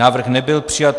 Návrh nebyl přijat.